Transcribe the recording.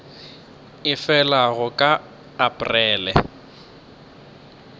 e felago ka la aprele